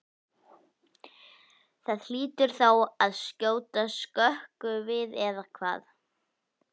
Það hlýtur þá að skjóta skökku við eða hvað?